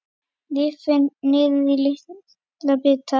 Rifin niður í litla bita.